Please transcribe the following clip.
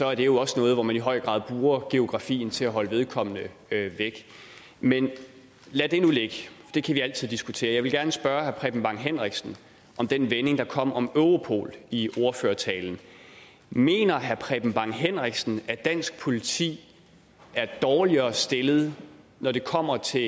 er det også noget hvor man i høj grad bruger geografien til at holde vedkommende væk men lad det nu ligge det kan vi altid diskutere jeg vil gerne spørge herre preben bang henriksen om den vending der kom om europol i ordførertalen mener herre preben bang henriksen at dansk politi er dårligere stillet når det kommer til